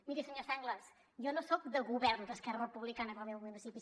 miri senyor sanglas jo no soc de govern d’esquerra republicana en el meu municipi